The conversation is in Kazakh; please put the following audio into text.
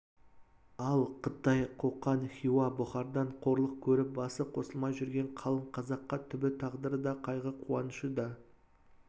ал қытай қоқан хиуа бұхардан қорлық көріп басы қосылмай жүрген қалың қазаққа түбі тағдыры да қайғы қуанышы да